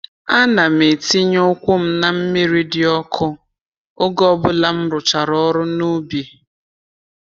Ana m etinye ụkwụ m na mmiri dị ọkụ oge ọbụla m rụchara ọrụ n’ubi.